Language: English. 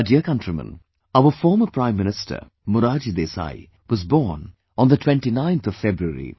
My dear countrymen, our former Prime Minister Morarji Desai was born on the 29th of February